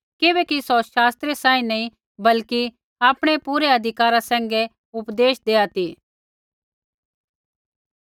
किबैकि सौ शास्त्रियै सांही नी बल्कि आपणै पूरै अधिकारा सैंघै उपदेश देआ ती